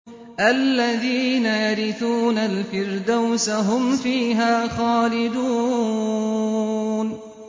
الَّذِينَ يَرِثُونَ الْفِرْدَوْسَ هُمْ فِيهَا خَالِدُونَ